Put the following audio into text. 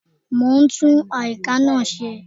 Mo ń tún àyíká náà ṣe